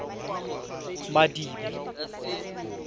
madibe